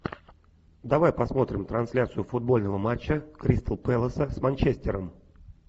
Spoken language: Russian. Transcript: давай посмотрим трансляцию футбольного матча кристал пэласа с манчестером